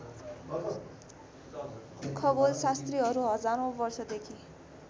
खगोलशास्त्रीहरू हजारौँ वर्षदेखि